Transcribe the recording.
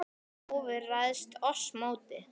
óvin ræðst oss móti.